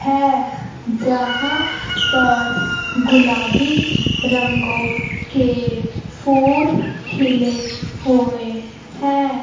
है जहां पर गुलाबी रंगों के फूल खिले हुए हैं।